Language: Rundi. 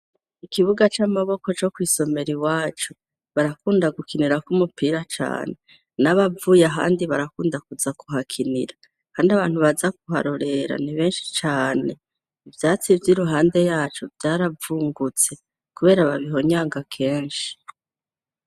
Kukibuga c'amaboko co kw'isomero iwacu barakunda gukinirako umupira cane n'abavuye ahandi barakunda kuza kuhakinira kandi abantu baza kuharorera ni benshi cane. Ivyatsi vyiruhande yaco vyaravungutse kubera babihonyanga kenshi.